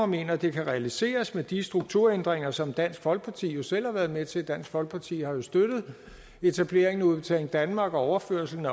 mener det kan realiseres med de strukturændringer som dansk folkeparti jo selv har været med til dansk folkeparti har jo støttet etableringen af udbetaling danmark og overførselen